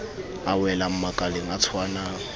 a welang makaleng a tshwanang